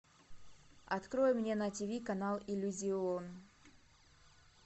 открой мне на тиви канал иллюзион